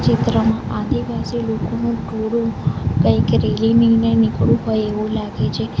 ચિત્રમાં આદિવાસી લોકોનું ટોળું કંઈક રેલી લઈને નીકળૂ હોય એવું લાગે છે.